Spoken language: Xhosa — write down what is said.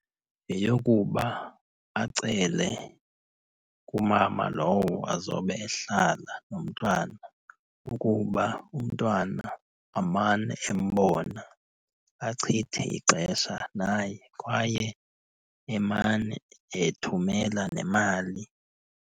Yeyokuba acele kumama lowo azobe ehlala nomntwana ukuba umntwana amane embona, achithe ixesha naye. Kwaye emane ethumela nemali.